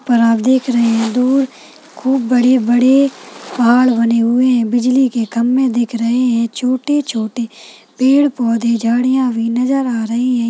यहाँ पर आप देख रहे है दूर खूब बड़े बड़े पहाड़ बने हुए है बिजली के खंभे दिख रहे है छोटे छोटे पेड़ पौधे झड़िया भी नजर आ रही है।